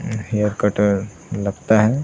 उम्म hair cutter लगता है।